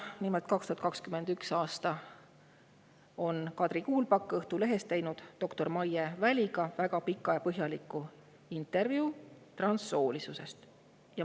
Nimelt, 2021. aastal on teinud Kadri Kuulpak Õhtulehest doktor Maie Väliga väga pika ja põhjaliku intervjuu transsoolisusest.